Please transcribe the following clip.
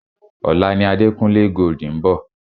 Ọ̀la ni Adekunle Gold ń bọ̀.